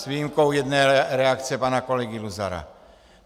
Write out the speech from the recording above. s výjimkou jedné reakce pana kolegy Luzara.